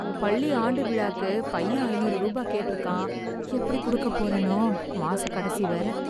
பள்ளி ஆண்டு விழாக்கு பையன் ஐநூறு ரூபாய் கேட்ருக்கான். எப்படி குடுக்க போறேனோ... மாச கடைசி வேற